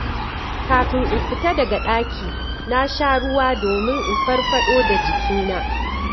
Kafin in fita daga ɗaki, na sha ruwa domin in farfaɗo da jikina.